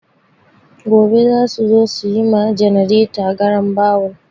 Gobe za su zo su yi ma ganareta garambawul.